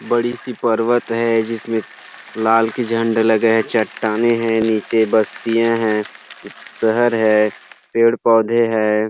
बड़ी सी पर्वत है जिसमे लाल की झंडा लगा है चट्टाने है निचे बस्तिया है सहर है पेड़ पौधे है।